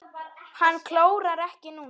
Hann klórar ekki núna.